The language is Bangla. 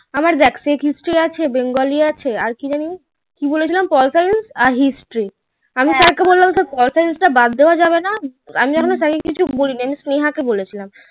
আমার দেখ history আছে bengali আছে আর কি যেন কি বলেছিলাম pol science আর history আমি তো আবার বলেছিলাম pol science তা ব্যাড দাওয়া যাবে না আমি এখনো sir কে কিছু বলি নি আমি স্নেহা কে বলেছিলাম